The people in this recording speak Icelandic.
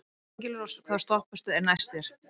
Engilrós, hvaða stoppistöð er næst mér?